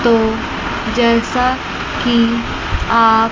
तो जैसा की आप--